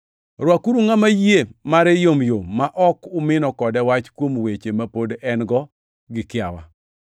Rwakuru ngʼama yie mare yomyom ma ok umino kode wach kuom weche ma pod en-go gi kiawa.